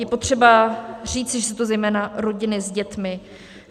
Je potřeba říci, že jsou to zejména rodiny s dětmi.